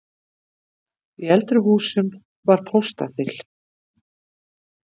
Í eldri húsum var póstaþil.